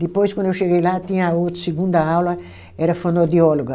Depois, quando eu cheguei lá, tinha a outra segunda aula, era fonoaudióloga.